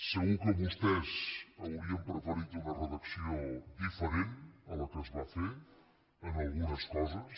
segur que vostès haurien preferit una redacció diferent a la que es va fer en algunes coses